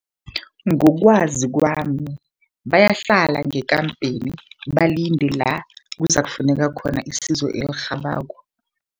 Ngokwazi kwami bayahlala ngekampeni, balinde la kuzakufuneka khona isizo elirhabako.